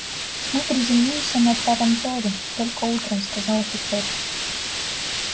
мы приземлимся на транторе только утром сказал офицер